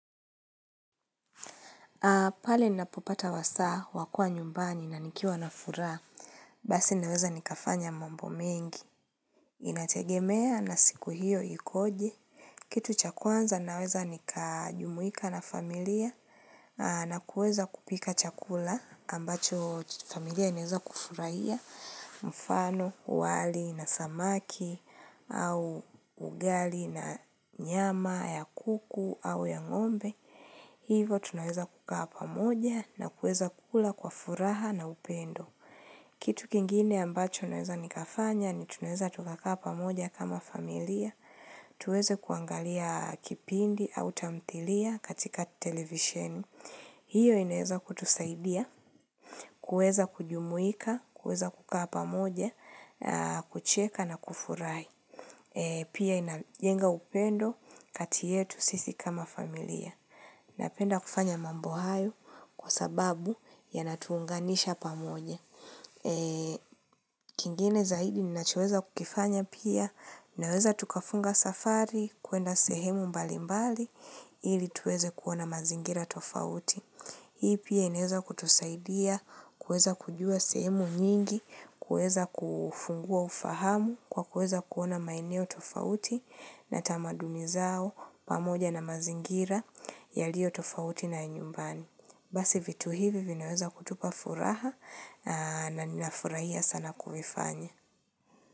Pale ninapopata wasaa, wa kuwa nyumbani na nikiwa na furaha, basi naweza nikafanya mambo mengi, inategemea na siku hiyo ikoje. Kitu cha kwanza naweza nikajumuika na familia na kuweza kupika chakula ambacho familia inweza kufurahia mfano, wali, na samaki au ugali na nyama ya kuku au ya ng'ombe. Hivo tunaweza kukaa pamoja na kuweza kula kwa furaha na upendo. Kitu kingine ambacho naweza nikafanya ni tunaweza tukakaa hapa moja kama familia. Tuweze kuangalia kipindi au tamthilia katika televisheni. Hiyo inaweza kutusaidia, kuweza kujumuika, kuweza kukaa hapa moja, kucheka na kufurahi. Pia inajenga upendo kati yetu sisi kama familia. Napenda kufanya mambo hayo kwa sababu yanatuunganisha pamoje. Kingine zaidi ninachoweza kukifanya pia naweza tukafunga safari kuenda sehemu mbalimbali ili tuweze kuona mazingira tofauti. Hii pia inaweza kutusaidia kuweza kujua sehemu nyingi, kuweza kufungua ufahamu kwa kuweza kuona maeneo tofauti na tamaduni zao pamoja na mazingira yaliyo tofauti na ya nyumbani. Basi vitu hivi vinaweza kutupa furaha na ninafurahia sana kuifanya.